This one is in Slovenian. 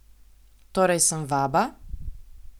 Torej sem vaba?